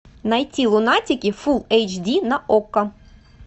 найти лунатики фулл эйч ди на окко